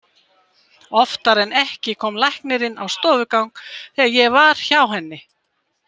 Oftar en ekki kom læknirinn á stofugang þegar ég var hjá henni.